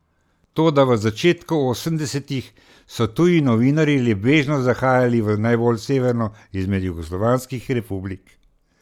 Toda še v začetku osemdesetih, so tuji novinarji le bežno zahajali v najbolj severno izmed jugoslovanskih republik.